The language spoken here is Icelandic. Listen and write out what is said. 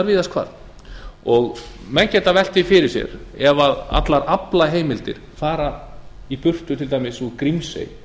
víðast hvar menn geta velt því fyrir sér ef allar aflaheimildir fara í burtu til dæmis úr grímsey